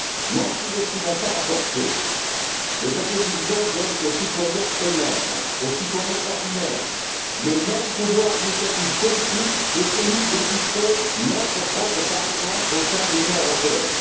N'en sous estimons pas la portée. Le traité de Lisbonne donne aux citoyens eux mêmes, aux citoyens ordinaires, le même pouvoir d'initiative politique que celui dont dispose notre propre Parlement au sein de l'Union européenne.